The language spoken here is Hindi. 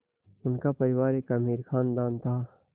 उनका परिवार एक अमीर ख़ानदान था